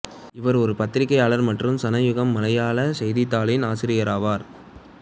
இவர் ஒரு பத்திரிக்கையாளர் மற்றும் சனயுகம் மலையாள செய்தித்தாளின் ஆசிரியராவார்